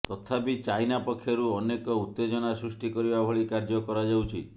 ତଥାପି ଚାଇନା ପକ୍ଷରୁ ଅନେକ ଉତ୍ତେଜନା ସୃଷ୍ଟି କରିବା ଭଳି କାର୍ଯ୍ୟ କରାଯାଉଛି